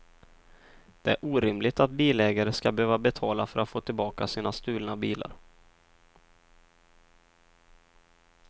Det är orimligt att bilägare ska behöva betala för att få tillbaka sina stulna bilar.